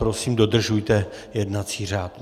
Prosím, dodržujte jednací řád.